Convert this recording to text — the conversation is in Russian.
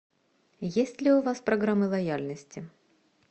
есть ли у вас программы лояльности